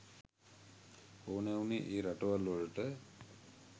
ඕනෑ වුණේ ඒ රටවල්වලට.